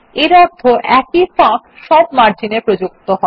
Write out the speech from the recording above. এর অর্থ একই ফাঁক সব মার্জিনে প্রযুক্ত হয়